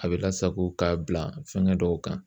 A bɛ lasago k'a bila fɛngɛ dɔw kan